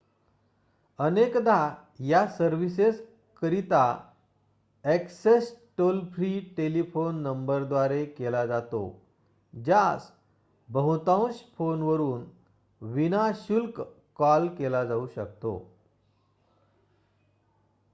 अनेकदा या सर्विसेस करिता ऍक्सेस टोल-फ्री टेलिफोन नंबरद्वारे केला जातो ज्यास बहुतांश फोनवरून विना-शुल्क कॉल केला जाऊ शकतो